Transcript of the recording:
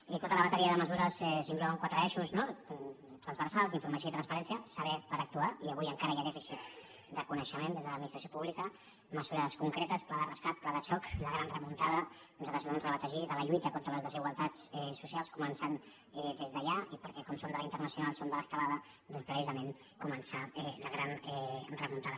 i tota la bateria de mesures s’inclou en quatre eixos transversals informació i transparència saber per actuar i avui encara hi ha dèficits de coneixement des de l’administració pública mesures concretes pla de rescat pla de xoc la gran remuntada nosaltres ho hem rebatejat de la lluita contra les desigualtats socials començant des d’allà i perquè com som de la internacional som de l’estelada precisament començar la gran remuntada